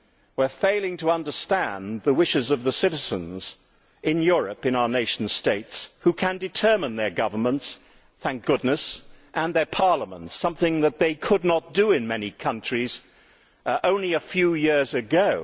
We are failing to understand the wishes of the citizens in Europe, in our nation states, who can determine their governments thank goodness and their parliaments, something that they could not do in many countries only a few years ago.